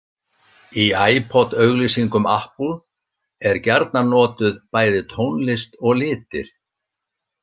Í iPod-auglýsingum Apple er gjarnan notuð bæði tónlist og litir.